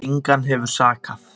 Engan hefur sakað